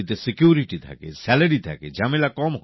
চাকরি তে নিরাপত্তা থাকে বেতন থাকে